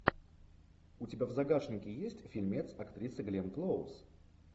у тебя в загашнике есть фильмец актрисы гленн клоуз